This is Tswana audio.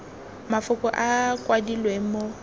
mafoko a a kwadilweng mo